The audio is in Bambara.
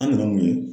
An nana mun ye